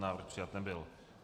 Návrh přijat nebyl.